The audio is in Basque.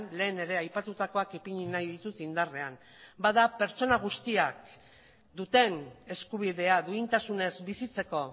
lehen ere aipatutakoak ipini nahi ditut indarrean bada pertsona guztiak duten eskubidea duintasunez bizitzeko